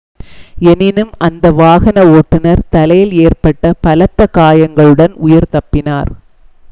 எனினும் அந்த வாகன ஓட்டுனர் தலையில் ஏற்பட்ட பலத்த காயங்களுடன் உயிர் தப்பினார்